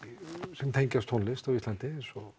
sem tengjast tónlist á Íslandi eins og